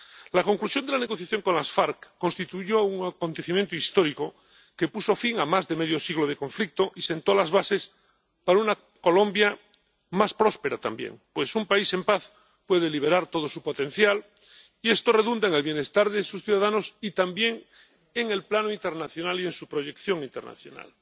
La conclusión de la negociación con las FARC constituyó un acontecimiento histórico que puso fin a más de medio siglo de conflicto y sentó las bases para una Colombia más próspera también, pues un país en paz puede liberar todo su potencial y esto redunda en el bienestar de sus ciudadanos, y también en el plano internacional y en su proyección internacional.